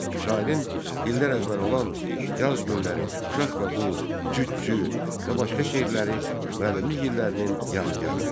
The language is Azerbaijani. Şairin dillər əzbəri olan "Yaz günləri", "Uşaq və buz", "Cütçü" və başqa şeirləri müəllimlik illərinin yadigarıdır.